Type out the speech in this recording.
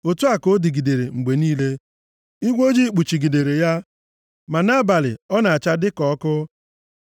Otu a ka ọ dịgidere mgbe niile. Igwe ojii kpuchigidere ya, ma nʼabalị ọ na-acha dị ka ọkụ.